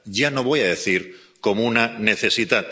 ya no voy a decir como una necesidad.